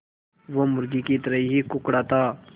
वो मुर्गी की तरह ही कुड़कुड़ाता